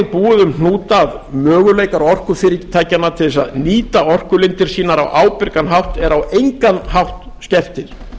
búið um hnúta að möguleikar orkufyrirtækjanna til að nýta orkulindir sínar á ábyrgan hátt eru á engan hátt skertir